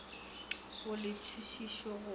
go le tšhutišo go ya